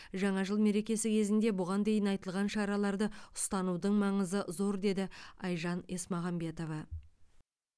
жаңа жыл мерекесі кезінде бұған дейін айтылған шараларды ұстанудың маңызы зор деді айжан есмағамбетова